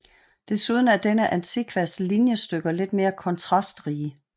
Desuden er denne antikvas linjestykker lidt mere kontrastrige